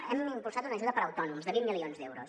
hem impulsat una ajuda per a autònoms de vint milions d’euros